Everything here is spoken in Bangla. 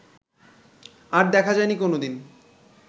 আর দেখা যায়নি কোনো দিন